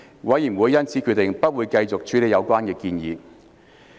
委員會因而決定不會繼續處理有關建議。